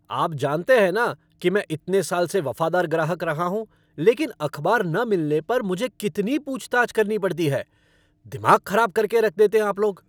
आप जानते हैं न कि मैं इतने साल से वफ़ादार ग्राहक रहा हूँ लेकिन अखबार न मिलने पर मुझे कितनी पूछ ताछ करनी पड़ती है। दिमाग खराब करके रख देते हैं आप लोग।